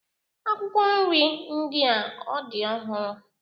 Akwụkwọ nri ndị a ọ dị ọhụrụ